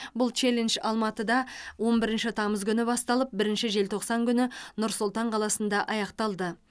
бұл челлендж алматыда он бірінші тамыз күні басталып бірінші желтоқсан күні нұр сұлтан қаласында аяқталды